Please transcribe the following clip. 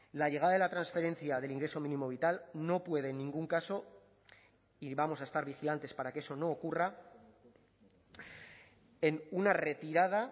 la llegada de la transferencia del ingreso mínimo vital no puede en ningún caso y vamos a estar vigilantes para que eso no ocurra en una retirada